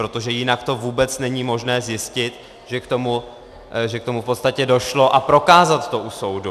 Protože to jinak vůbec není možné zjistit, že k tomu v podstatě došlo, a prokázat to u soudu.